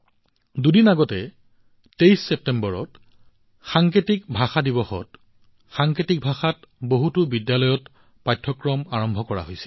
দুদিন আগতে ২৩ ছেপ্টেম্বৰত সাংকেতিক ভাষা দিৱসত সাংকেতিক ভাষাত বহুতো বিদ্যালয়ত পাঠ্যক্ৰম আৰম্ভ কৰা হৈছে